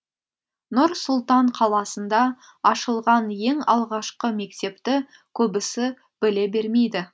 нұр сұлтан қаласында ашылған ең алғашқы мектепті көбісі біле бермейді